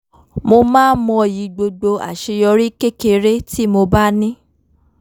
mo máa ń mọyì gbogbo àṣeyorí kékeré tí mo bá ní